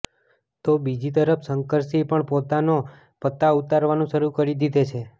તો બીજી તરફ શંકરસિંહે પણ પોતાના પત્તા ઉતરવાના શરૂ કરી દીધા છે